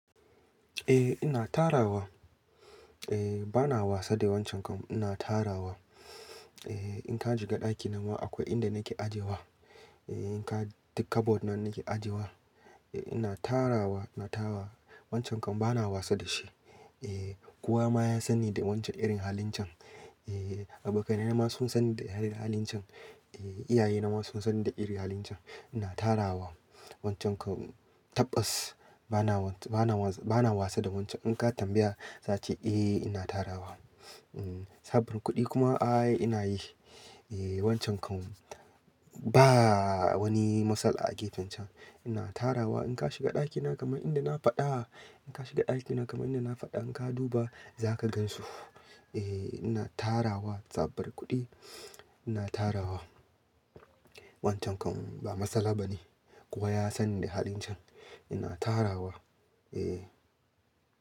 Eh ina tarawa. Eh bana wasa da wancan, ina tarawa. Eh in ka shiga ɗakina ma akwai inda nake ajewa. Eh in ka tika board nan nake ajewa. Eh ina tarawa, ina tarawa wancan kam bana wasa da shi. Eh kowa ma ya san ni da irin halin can. Eh abokaina ma sun san ni da irin halin can. Eh iyaye na ma sun sani da irin halin can. Ina tarawa wancan kam tabas bana wasa, bana wasa da wancan. In ka tambaya za ce eh ina tarawa. Sabin kuɗi kuma ai ina yin shi. Eh wancan kam ba wani matsala a gefen can. Ina tarawa in ka shiga ɗakina kamar inda na faɗa, in ka shiga ɗakina kamar inda na faɗa in ka duba za ka gansu. Eh ina tarawa tsabar kuɗi. Ina tarawa wancan kuma ba matsala bane. Kowa ya sani da halin can. Ina tarawa. Eh.